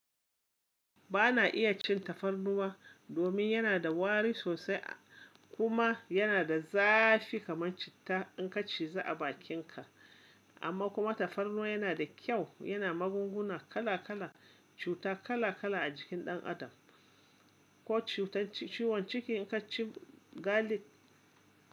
Ba na iya cin tafarnuwa domin yana da wari sosai kuma yana da zafi kamar citta in ka ciza a bakinka. Amma kuma tafarnuwa yana da kyau, yana magunguna kala kala, cuta kala kala a jikin ɗan adam, ko cutar ciwon ciki in ka ci galic.